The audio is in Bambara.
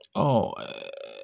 Ɔ